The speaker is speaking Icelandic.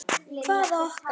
Hvaða okkar?